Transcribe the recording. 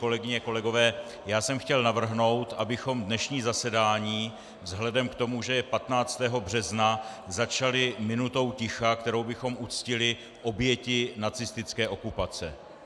Kolegyně, kolegové, já jsem chtěl navrhnout, abychom dnešní zasedání vzhledem k tomu, že je 15. března, začali minutou ticha, kterou bychom uctili oběti nacistické okupace.